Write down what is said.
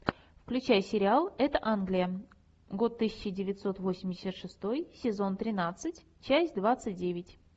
включай сериал это англия год тысяча девятьсот восемьдесят шестой сезон тринадцать часть двадцать девять